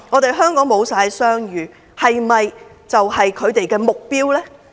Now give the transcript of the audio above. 令香港商譽全失，是否就是他們的目標？